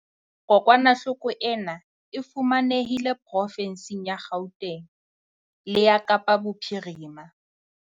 Kokwanahloko ena e fumanehile profensing ya Gauteng le ya Kapa Bophirima.